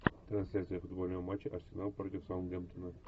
трансляция футбольного матча арсенал против саутгемптона